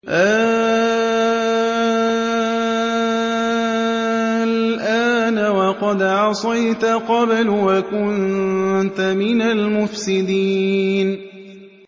آلْآنَ وَقَدْ عَصَيْتَ قَبْلُ وَكُنتَ مِنَ الْمُفْسِدِينَ